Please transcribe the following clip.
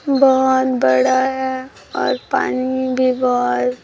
बहोत बड़ा है और पानी भी बहोत --